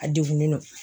A degunnen don